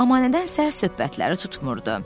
Amma nədənsə söhbətləri tutmurdu.